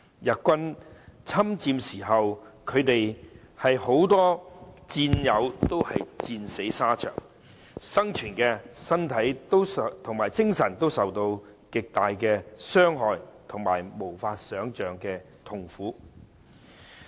日軍侵佔香港時，他們有很多戰友戰死沙場；生存下來的，身體及精神都受到極大的傷害及無法想象的痛苦。